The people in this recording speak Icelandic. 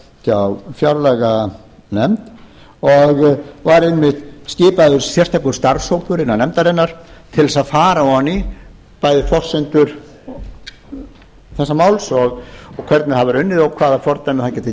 hjá fjárlaganefnd og var einmitt skipaður sérstakur starfshópur innan nefndarinnar til þess að fara ofan í bæði forsendur þessa máls og hvernig það var unnið og hvaða fordæmi